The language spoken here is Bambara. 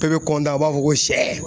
Bɛɛ bɛ a b'a fɔ ko sɛ.